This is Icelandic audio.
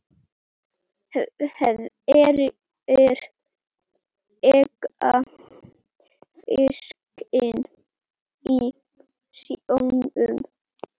Hverjir eiga fiskinn í sjónum?